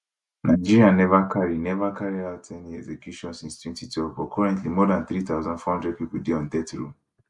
nigeria neva carry neva carry out any execution since 2012 but currently more dan 3400 pipo dey on death row